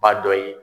Ba dɔ ye